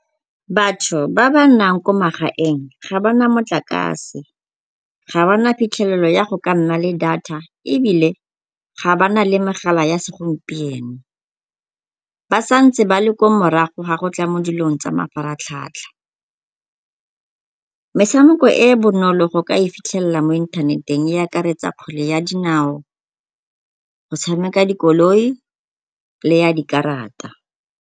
Batho ba ba nnang ko magaeng ga ba na motlakase, ga ba na phitlhelelo ya go ka nna le data ebile ga ba na le megala ya segompieno. Ba sa ntse ba le kwa morago ga go tla mo dilong tsa mafaratlhatlha. Metshameko e e bonolo go ka e ifitlhelela mo inthaneteng e akaretsa kgwele ya dinao, go tshameko dikoloi le ya dikarata.